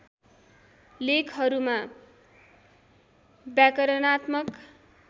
लेखहरूमा व्याकरणात्मक